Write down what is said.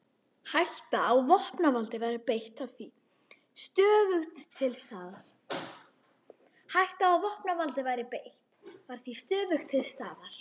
Hætta á að vopnavaldi væri beitt var því stöðugt til staðar.